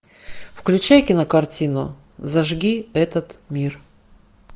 включай кинокартину зажги этот мир